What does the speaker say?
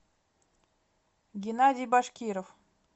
геннадий башкиров